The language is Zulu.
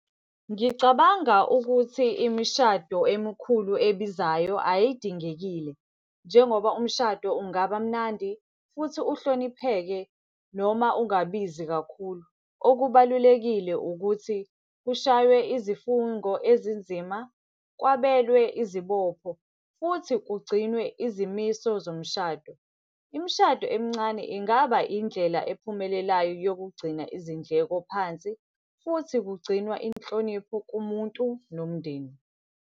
Ngicabanga ukuthi imishado emikhulu ebizayo ayidingekile. Njengoba umshado ungaba mnandi futhi uhlonipheke noma ungabizi kakhulu. Okubalulekile ukuthi, kushaywe izifungo ezinzima, kwabelwe izibopho, futhi kugcinwe izimiso zomshado. Imishado emincane ingaba indlela ephumelelayo yokugcina izindleko phansi, futhi kugcinwa inhlonipho kumuntu nomndeni.